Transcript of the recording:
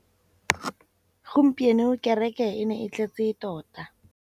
Gompieno kêrêkê e ne e tletse tota.